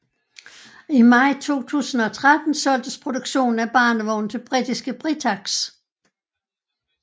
I maj 2013 solgtes produktionen af barnevogne til britiske Britax